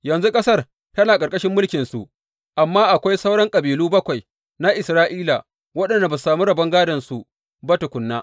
Yanzu ƙasar tana ƙarƙashin mulkinsu, amma akwai sauran kabilu bakwai na Isra’ila waɗanda ba su samu rabon gādonsu ba tukuna.